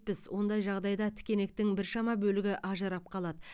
ондай жағдайда тікенектің біршама бөлігі ажырап қалады